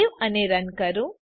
save કરો run કરો